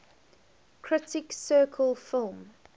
critics circle film